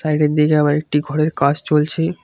Side -এর দিকে আবার একটি ঘরের কাজ চলছে।